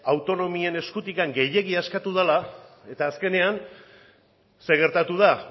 autonomien eskutik gehiegi askatu dela eta azkenean zer gertatu da